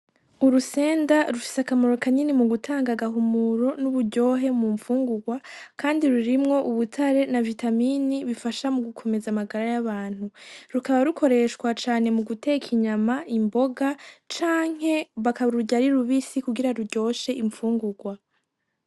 Urusenda rushise akamaro kanyini mu gutanga agahumuro n'uburyohe mu mpfungurwa, kandi rurimwo ubutare na vitamini bifasha mu gukomeza amagara y'abantu rukaba rukoreshwa cane mu guteka inyama imboga canke bakaba rurya ari rubisi kugira ruryoshe impfungurwa.